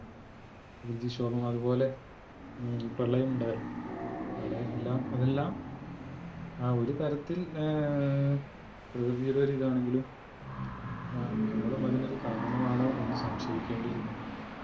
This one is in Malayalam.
വ്യതിശോഭം അത്പോലെ പ്രളയമുണ്ടായി. പ്രളയമെല്ലാം അതെല്ലാം ആ ഒരു തരത്തിൽ ഏർ പ്രകൃതിയുടെ ഒരു ഇതാണെങ്കിലും അഹ് നമ്മളും അതിനൊരു കാരണമാണോ എന്ന സംശയിക്കേണ്ടി ഇരിക്കുന്നു.